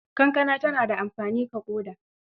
Kankana tana da amfani ga ƙoda.